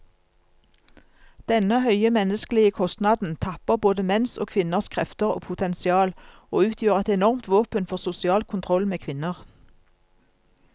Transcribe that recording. Denne høye menneskelige kostnaden tapper både menns og kvinners krefter og potensial, og utgjør et enormt våpen for sosial kontroll med kvinner.